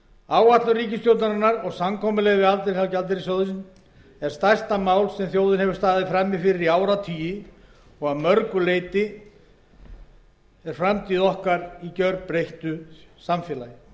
áætlun ríkisstjórnarinnar og samkomulag við alþjóðagjaldeyrissjóðinn er stærsta mál sem þjóðin hefur staðið frammi fyrir í áratugi og að mörgu leyti er framtíð okkar í gerbreyttu samfélagi það